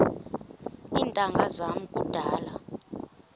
iintanga zam kudala